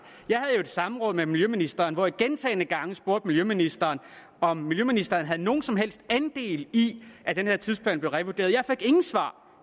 samråd med miljøministeren hvor jeg gentagne gange spurgte miljøministeren om miljøministeren havde nogen som helst andel i at den her tidsplan blev revurderet jeg fik ingen svar